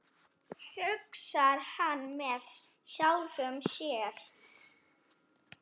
hugsar hann með sjálfum sér.